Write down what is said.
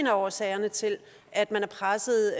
er årsag til at man er presset